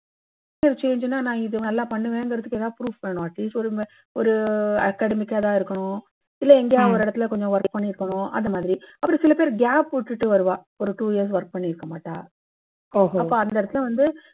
career change ன்னா நான் இது பண்ணுவேன்னு ஏதாவது ஒரு proof வேணும். at least ஒரு academic கரா இருக்கணும், இல்லை எங்கேயாவது ஒரு இடத்துல work பண்ணி இருக்கணும். அந்த மாதிரி. அப்புறம் சில பேர் gap விட்டுட்டு வருவா. ஒரு two years work பண்ணி இருக்கமாட்டா. அப்போ அந்த இடத்துல வந்து